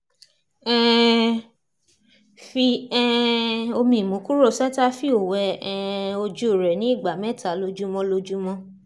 um fi um omi imukuro cetaphil wẹ um ojú rẹ ní ìgbà mẹ́ta lójúmọ́ lójúmọ́